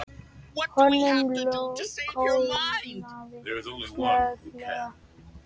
Honum kólnaði snögglega.